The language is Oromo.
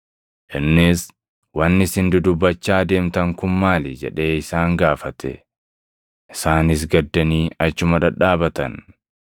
Innis, “Wanni isin dudubbachaa deemtan kun maali?” jedhee isaan gaafate. Isaanis gaddanii achuma dhadhaabatan.